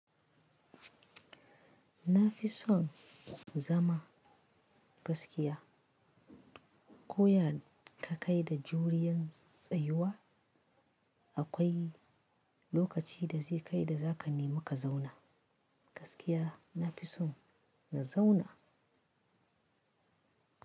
Na fi son zama gaskiya. Koya ka kai da juriyan tsayuwa, akwai lokaci da zai kai da za ka nema ka zauna. Gaskiya na fi son na zauna.